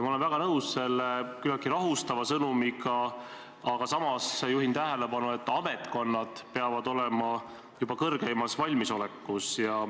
Ma olen väga nõus selle küllaltki rahustava sõnumiga, aga samas juhin tähelepanu, et ametkonnad peavad olema juba suurimas valmisolekus.